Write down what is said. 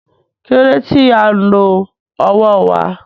Kí ló dé tí à ń lo ọwọ́ wa?